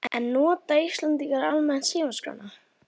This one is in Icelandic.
En nota Íslendingar almennt símaskrána?